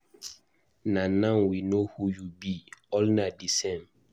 Na now we know who you be, all na the same.